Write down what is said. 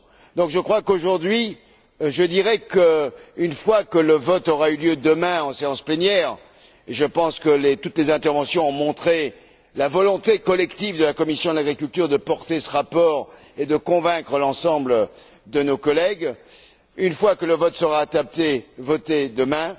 Donc je dirai qu'une fois que le vote aura eu lieu demain en séance plénière et je pense que toutes les interventions ont montré la volonté collective de la commission de l'agriculture de porter ce rapport et de convaincre l'ensemble de nos collègues une fois que le texte sera adopté, voté demain,